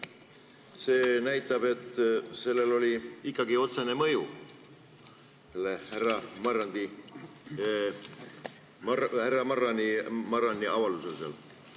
See näitab, et sellel härra Marrani avaldusel oli ikkagi otsene mõju.